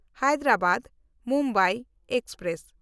ᱦᱟᱭᱫᱨᱟᱵᱟᱫ–ᱢᱩᱢᱵᱟᱭ express